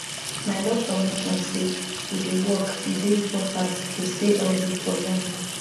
my doctor mention say to dey walk e dey important to stay healthy for long